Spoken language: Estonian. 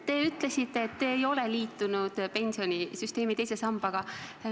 Te ütlesite, et te ei ole liitunud pensionisüsteemi teise sambaga.